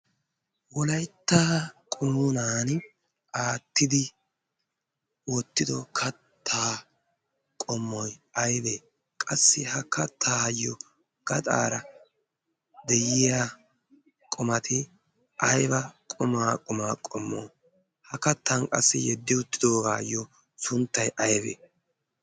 Wolyaittaa qumuunan aattidi oottido katta qommoi aibee qassi ha kattaayyo gaxaara de'iya qumati aiba qumaa qumaa qommo ha kattan qassi yeddi uttidoogaayyo sunttai aibee?